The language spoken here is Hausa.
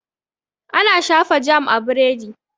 Ana shafa jam a biredi.